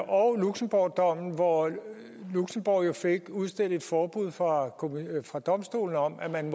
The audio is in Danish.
og luxembourgdommen hvor luxembourg jo fik udstedt et forbud fra fra domstolen om at man